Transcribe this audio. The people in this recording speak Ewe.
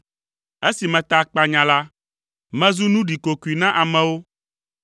esi meta akpanya la, mezu nu ɖikokoe na amewo.